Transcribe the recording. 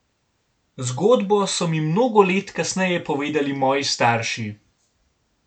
Zgodbo so mi mnogo let kasneje povedali moji starši.